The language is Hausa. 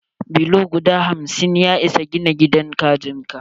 Bulo guda hamsin ya isa gina gidan kajin ka.